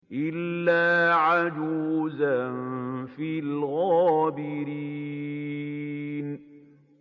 إِلَّا عَجُوزًا فِي الْغَابِرِينَ